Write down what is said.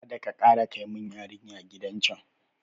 Kadaka kara kai mun yarinya gidan yaran can